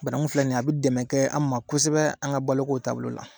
Bananku filɛ nin ye a be dɛmɛkɛ an ma kosɛbɛ an ka boloko taabolo la